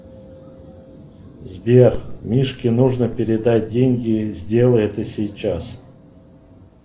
сбер мишке нужно передать деньги сделай это сейчас